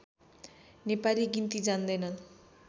नेपाली गिन्ती जान्दैनन्